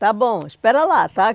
Está bom, espera lá, tá?